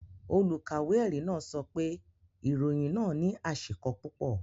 Olùkàwé ẹ̀rí náà sọ pé ìròyìn náà ní àṣìko púpọ̀.